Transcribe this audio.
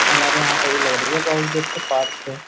हमारे यहां पे भी लग रही है देख के पार्क है।